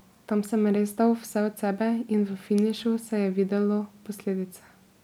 Tam sem res dal vse od sebe in v finišu se je videlo posledice.